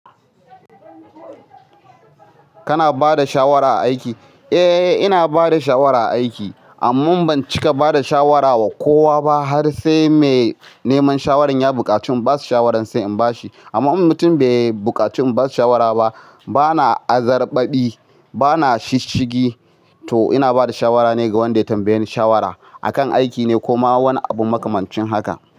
Kana ba da shawara a aiki? Eh, ina ba da shawara a aiki, amma ban cika bada shawara wa kowa ba har sai mai neman shawarar ya buƙaci in bashi shawaran sai in bashi. Amma in mutum bai buƙaci in bashi shawara ba, bana azarbabi, bana shishigi. To ina bada shawara ne ga wanda ya tambaye ni shawara. A kan aiki ne ko ma wani abu makamancin haka.